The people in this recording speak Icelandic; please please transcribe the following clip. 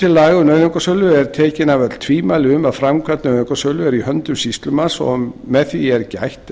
um nauðungarsölu eru tekin af öll tvímæli um að framkvæmd nauðungarsölu er í höndum sýslumanns og með því er gætt